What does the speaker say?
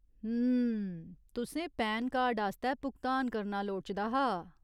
हुं, तुसें PAN card आस्तै भुगतान करना लोड़चदा हा ?